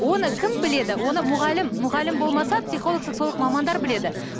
оны кім біледі оны мұғалім мұғалім болмаса психолог сексолог мамандар біледі